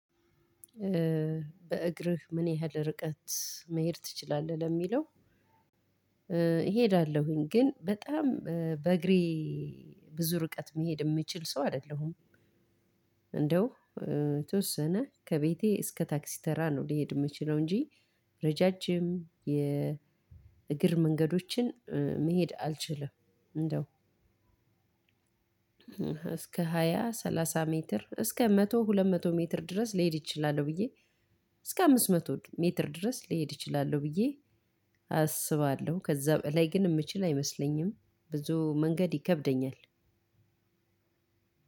በእግርህ ምን ያህል ርቀት መሄድ ትችላለህ? ለሚለው እሄዳለሁኝ ግን በጣም በእግሬ ብዙ ርቀት መሄድ የምችል ሰው አይደለሁም እንደው የተወሰነ ከቤቴ እስከ ታክሲ ተራ ነው ሊሄድ የምችለው እንጂ ረዣዥም የእግር መንገዶችን መሄድ አልችልም እንደው እስከ ሃያ ሰላሳ ሜትር እስከ መቶ ሁለት መቶ ሜትር ድረስ ሊሄድ ይችላል ብዬ እስከ አምስት መቶ ሜትር ድረስ ሊሄድ እችላለው ብዬ አስባለሁ። ከዛ ላይ ግን የምችል አይመስለኝም ብዙ መንገድ ይከብደኛል።